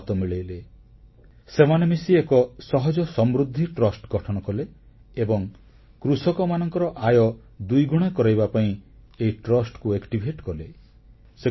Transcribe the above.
Engineersହାତ ମିଳାଇଲେ ସେମାନେ ମିଶି ଏକ ସହଜ ସମୃଦ୍ଧି ଟ୍ରଷ୍ଟ ଗଠନ କଲେ ଏବଂ କୃଷକମାନଙ୍କର ଆୟ ଦୁଇଗୁଣ କରାଇବା ପାଇଁ ଏହି ଟ୍ରଷ୍ଟକୁ ସଚଳ କଲେ